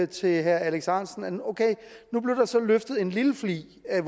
til herre alex ahrendtsen okay nu blev der så løftet en lille flig af